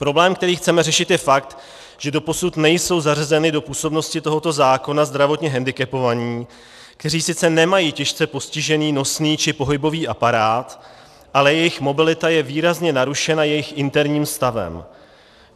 Problém, který chceme řešit je fakt, že doposud nejsou zařazeny do působnosti tohoto zákona zdravotně hendikepovaní, kteří sice nemají těžce postižený nosný či pohybový aparát, ale jejich mobilita je výrazně narušena jejich interním stavem.